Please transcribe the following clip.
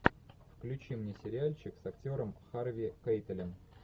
включи мне сериальчик с актером харви кейтелем